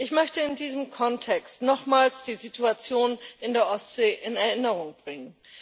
Ich möchte in diesem Kontext nochmals die Situation in der Ostsee in Erinnerung bringen.